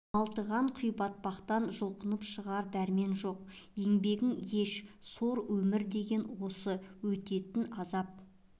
малтыған құйбатпақтан жұлқынып шығар дәрмен жоқ еңбегің еш сор өмірі деген осы өтетін азап